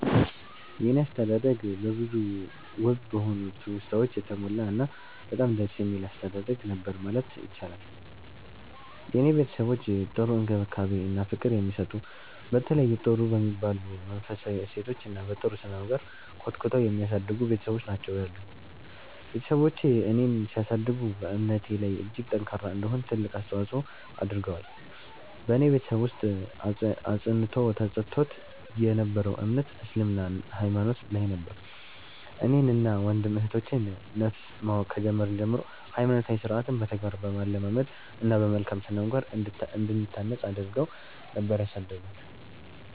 የኔ አስተዳደግ በብዙ ውብ በሆኑ ትውስታወች የተሞላ እና በጣም ደስ የሚል አስተዳደግ ነበር ማለት ይቻላል። የኔ ቤተሰቦች ጥሩ እንክብካቤ እና ፍቅር የሚሰጡ፤ በተለያዩ ጥሩ በሚባሉ መንፈሳዊ እሴቶች እና በ ጥሩ ስነምግባር ኮትኩተው የሚያሳድጉ ቤትሰቦች ናቸው ያሉኝ። ቤትሰቦቼ እኔን ሲያሳድጉ በእምነቴ ላይ እጅግ ጠንካራ እንድሆን ትልቅ አስተዋፆ አድርገዋል። በኔ ቤተሰብ ውስጥ አፅንዖት ተሰጥቶት የ ነበረው እምነት እስልምና ሃይማኖት ላይ ነበር። እኔን እና ወንድም እህቶቼ ን ነፍስ ማወቅ ከጀመርን ጀምሮ ሃይማኖታዊ ስርዓትን በተግባር በማለማመድ እና በመልካም ስነምግባር እንድንታነፅ አድረገው ነበር ያሳደጉን።